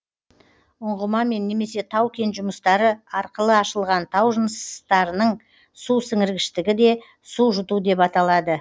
ұңғымамен немесе тау кен жұмыстары арқылы ашылған тау жынысытардың су сіңіргіштігі де су жұту деп аталады